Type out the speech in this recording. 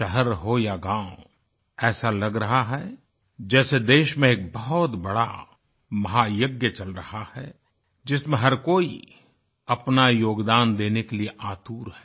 शहर हो या गाँव ऐसा लग रहा है जैसे देश में एक बहुत बड़ा महायज्ञ चल रहा है जिसमें हर कोई अपना योगदान देने के लिये आतुर है